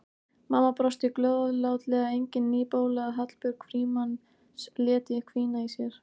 Mamma brosti góðlátlega, engin ný bóla að Hallbjörg Frímanns léti hvína í sér.